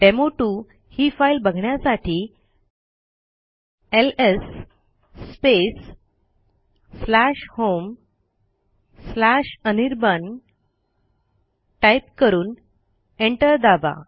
डेमो2 ही फाईल बघण्यासाठी LS space homeanirban type करून एंटर दाबा